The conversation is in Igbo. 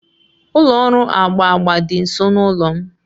Ụlọ ọrụ agba agba dị nso n'ụlọ m